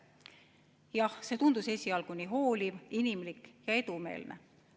Jah, see tundus esialgu nii hooliv, inimlik ja edumeelne.